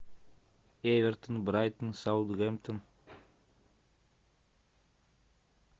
эвертон брайтон саутгемптон